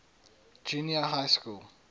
junior high school